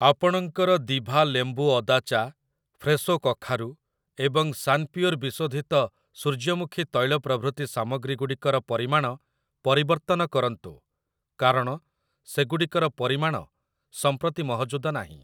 ଆପଣଙ୍କର ଦିଭା ଲେମ୍ବୁ ଅଦା ଚା, ଫ୍ରେଶୋ କଖାରୁ ଏବଂ ସାନପିଓର ବିଶୋଧିତ ସୂର୍ଯ୍ୟମୁଖୀ ତୈଳ ପ୍ରଭୃତି ସାମଗ୍ରୀଗୁଡ଼ିକର ପରିମାଣ ପରିବର୍ତ୍ତନ କରନ୍ତୁ କାରଣ ସେଗୁଡ଼ିକର ପରିମାଣ ସମ୍ପ୍ରତି ମହଜୁଦ ନାହିଁ ।